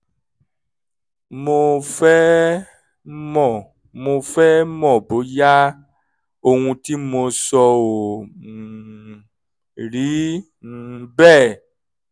mo fẹ́ mọ̀ mo fẹ́ mọ̀ bóyá ohun tí mo sọ ò um rí um bẹ́ẹ̀